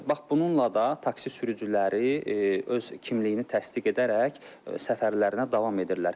Bax bununla da taksi sürücüləri öz kimliyini təsdiq edərək səfərlərinə davam edirlər.